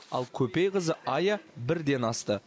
ал көпейқызы айя бірден асты